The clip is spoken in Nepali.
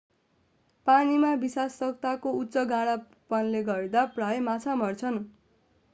पानीमा विषाक्तताको उच्च गाढापनले गर्दा प्रायः माछा मर्छन्